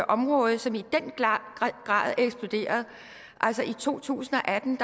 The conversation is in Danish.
område som i den grad er eksploderet i to tusind og atten